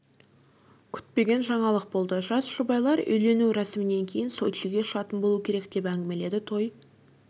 күтпеген жаңалық болды жас жұбайлар үйлену рәсімінен кейін сочиге ұшатын болу керек деп әңгімеледі той